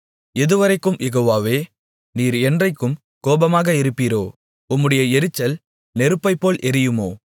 எதுவரைக்கும் யெகோவாவே நீர் என்றைக்கும் கோபமாக இருப்பீரோ உம்முடைய எரிச்சல் நெருப்பைப்போல் எரியுமோ